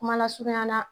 Kuma lasurunya na